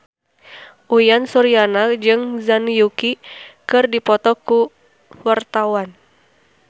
Uyan Suryana jeung Zhang Yuqi keur dipoto ku wartawan